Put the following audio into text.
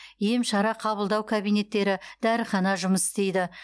ем шара қабылдау кабинеттері дәріхана жұмыс істейді